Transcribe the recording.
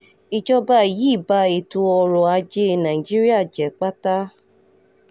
ìjọba yìí ba ètò ọrọ̀ ajé nàìjíríà jẹ́ pátá